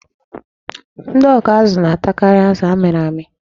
Ndị ọkụazụ na-atakarị azụ a mịrị amị.